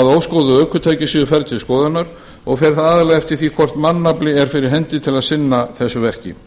að óskoðuð ökutæki séu færð til skoðunar og fer það aðallega eftir því hvort mannafli er fyrir hendi til að sinna þessu verki